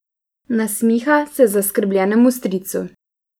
Nasmiha se zaskrbljenemu stricu.